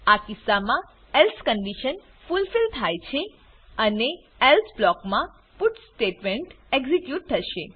આ કિસ્સામા else condition fulfil થાય છે અને એલ્સે બ્લોક મા પટ્સ સ્ટેટમેંટ એક્ઝીક્યુટ થશે